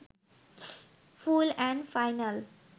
full and final